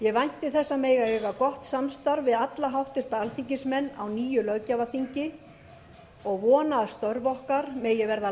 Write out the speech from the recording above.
ég vænti þess að mega eiga gott samstarf við alla háttvirta alþingismenn á nýju löggjafarþingi og vona að störf okkar megi verða